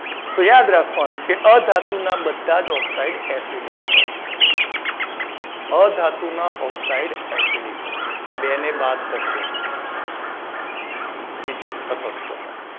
તો યાદ રાખવાનું કે અધાતુના બધા જ oxide asidic હોય અધાતુના oxide asidic હોય. બે ને બાદ કરજો. કે જે તટસ્થ હોય